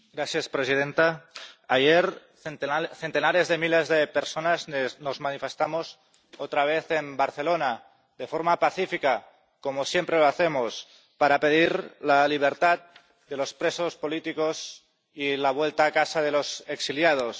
Señora presidenta, ayer centenares de miles de personas nos manifestamos otra vez en Barcelona de forma pacífica, como siempre lo hacemos, para pedir la libertad de los presos políticos y la vuelta a casa de los exiliados.